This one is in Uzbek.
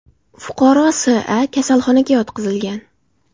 Fuqaro S.A. kasalxonaga yotqizilgan.